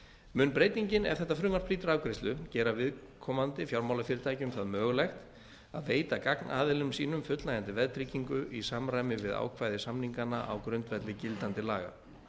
mun breytingin ef þetta frumvarp hlýtur afgreiðslu gera viðkomandi fjármálafyrirtækjum það mögulegt að veita gagnaðilum sínum fullnægjandi veðtryggingu í samræmi við ákvæði samninganna á grundvelli gildandi laga